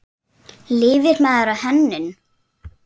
Lifir maður á hönnun?